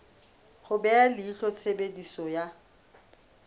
ho beha leihlo tshebediso ya